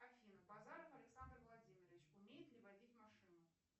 афина базаров александр владимирович умеет ли водить машину